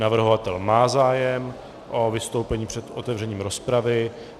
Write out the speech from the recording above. Navrhovatel má zájem o vystoupení před otevřením rozpravy.